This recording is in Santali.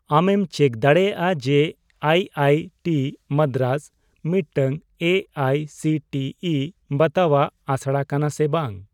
ᱟᱢᱮᱢ ᱪᱮᱠ ᱫᱟᱲᱮᱭᱟᱜᱼᱟ ᱡᱮ ᱟᱭ ᱟᱭ ᱴᱤ ᱢᱟᱫᱽᱫᱨᱟᱡᱽ ᱢᱤᱫᱴᱟᱝ A I C T E ᱵᱟᱛᱟᱣᱟᱜ ᱟᱥᱲᱟ ᱠᱟᱱᱟ ᱥᱮ ᱵᱟᱝ ?